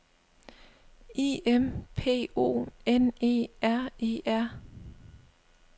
I M P O N E R E R